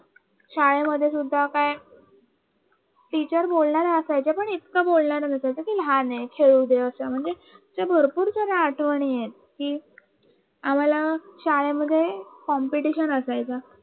शाळेमध्ये सुद्धा का टीचर बोलणारे असायचे पण इतकं बोलणार नसायचे की लहाने खेळू दे भरपूर सगळ्या आठवणी आहीत आम्हाला शाळेमध्ये competition असायचं